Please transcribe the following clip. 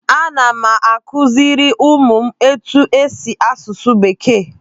Ana m akụziri ụmụ m etu-esi asụsụ bekee.